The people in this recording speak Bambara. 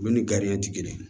Olu ni gariyan ti kelen ye